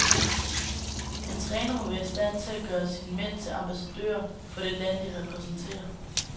En træner må være i stand til at gøre sine mænd til ambassadører, for det land de repræsenterer.